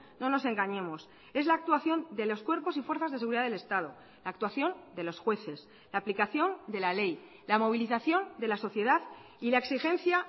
no nos engañemos es la actuación de los cuerpos y fuerzas de seguridad del estado la actuación de los jueces la aplicación de la ley la movilización de la sociedad y la exigencia